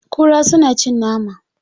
Kura suna cin nama.